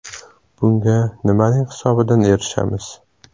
Bunga nimaning hisobidan erishamiz?